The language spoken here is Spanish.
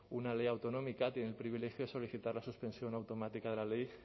una ley autonómica tiene el privilegio de solicitar la suspensión automática de la ley